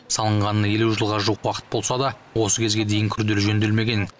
салынғанына елу жылға уақыт болса да осы кезге дейін күрделі жөнделмеген